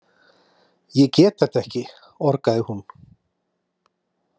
Ég get þetta ekki, orgaði hún.